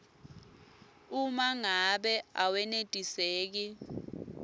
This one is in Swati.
uma ngabe awenetiseki